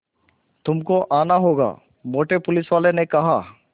तुमको आना होगा मोटे पुलिसवाले ने कहा